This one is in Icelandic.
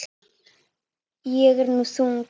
Ég er nú þung.